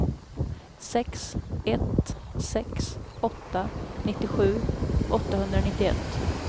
sex ett sex åtta nittiosju åttahundranittioett